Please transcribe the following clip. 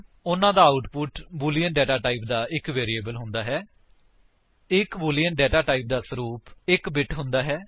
ਉਨ੍ਹਾਂ ਦਾ output boolean data type ਦਾ ਇੱਕ ਵੈਰਿਏਬਲ ਹੈ ਇੱਕ ਬੂਲਿਅਨ ਡੇਟਾ ਟਾਈਪ ਦਾ ਸਰੂਪ 1 ਬਿਟ ਹੁੰਦਾ ਹੈ